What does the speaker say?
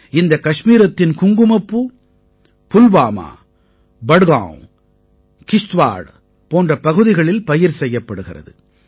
இந்தக் கஷ்மீரத்தின் குங்குமப்பூ புல்வாமா பட்காவ் கிஷ்த்வாட் போன்ற பகுதிகளில் பயிர் செய்யப்படுகிறது